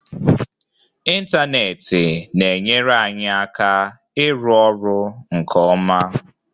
Ịntanetị na-enyere anyị aka ịrụ ọrụ nke ọma.